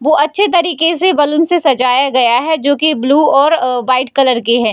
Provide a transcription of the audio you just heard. वो अच्छे तरीके से बलून से सजाया गया है जो की ब्लू और अ वाइट कलर के है।